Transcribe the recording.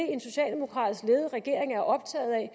en socialdemokratisk ledet regering er optaget af